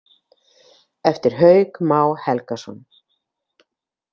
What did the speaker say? Eftir Hauk Má Helgason.